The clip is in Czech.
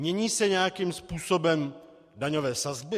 Mění se nějakým způsobem daňové sazby?